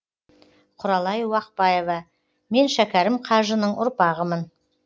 құралай уақбаева мен шәкәрім қажының ұрпағымын